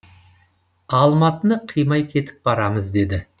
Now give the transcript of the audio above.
алматыны қимай кетіп барамыз деді